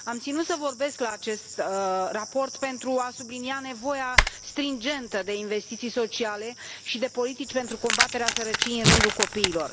Am ținut să vorbesc în legătură cu acest raport pentru a sublinia nevoia stringentă de investiții sociale și de politici pentru combaterea sărăciei în rândul copiilor.